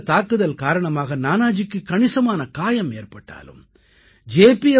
இந்தத் தாக்குதல் காரணமாக நானாஜிக்கு கணிசமான காயம் ஏற்பட்டாலும் ஜே